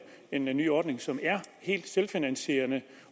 en ny ordning som er helt selvfinansierende